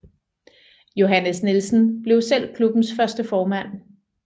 Johannes Nielsen blev selv klubbens første formand